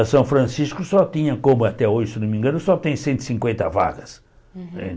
A São Francisco só tinha, como até hoje, se não me engano, só tem cento e cinquenta vagas né.